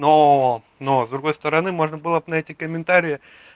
но но с другой стороны можно было б на эти комментарии